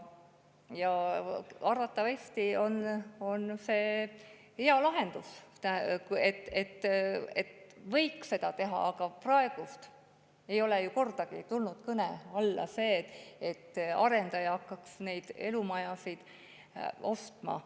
Arvatavasti on see hea lahendus, võiks nii teha, aga praegu ei ole kordagi tulnud kõne alla see, et arendaja hakkaks neid elumaju ära ostma.